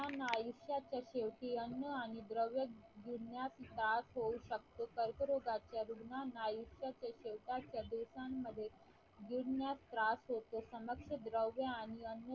आयुष्याच्या शेवटी अण्णा आणि द्रव्य घेण्यास त्रास होऊ शकतो कर्करोगाच्या रुग्णांना आयुष्याच्या शेवटी दिवसांमध्ये गिळण्यास त्रास होतो समक्ष द्रव्य आणि अन्न